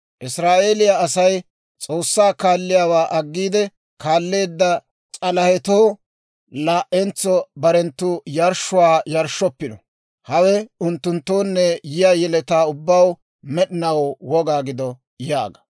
Israa'eeliyaa Asay S'oossaa kaalliyaawaa aggiide kaalleedda s'alahetoo laa"entso barenttu yarshshuwaa yarshshoppino. Hawe unttunttoonne yiyaa yeletaa ubbaw med'inaw woga gido› yaaga.